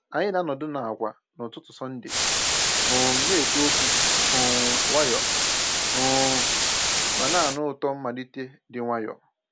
Anyị na-anọdụ n'àkwà n'ụtụtụ Sọnde, um na-ekwu okwu um nwayọọ um ma na-anụ ụtọ mmalite dị nwayọọ.